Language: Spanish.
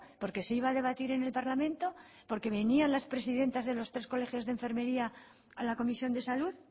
por qué se iba a debatir en el parlamento por qué venían las presidentas de los tres colegios de enfermería a la comisión de salud